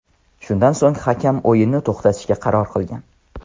Shundan so‘ng hakam o‘yinni to‘xtatishga qaror qilgan.